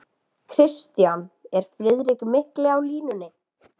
KRISTJÁN: Er Friðrik mikli á línunni?